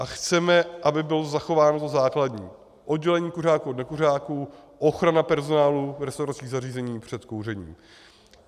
A chceme, aby bylo zachováno to základní: oddělení kuřáků od nekuřáků, ochrana personálu v restauračních zařízeních před kouřením.